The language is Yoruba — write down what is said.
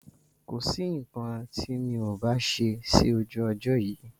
Kosi nkan ti mi ò bá ṣe sí ojú ọjọ́ yìí